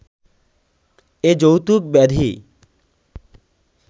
এ যৌতুক ব্যাধি